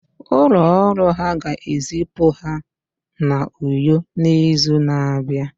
Ụlọ ọrụ ha ga-ezipụ ha n'Uyo n'izu na-abịa